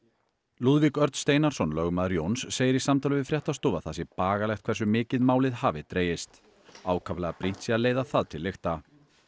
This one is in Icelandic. Lúðvík Örn Steinarsson lögmaður Jóns segir í samtali við fréttastofu að það sé bagalegt hversu mikið málið hafi dregist ákaflega brýnt sé að leiða það til lykta